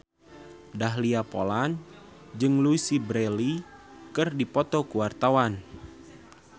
Dahlia Poland jeung Louise Brealey keur dipoto ku wartawan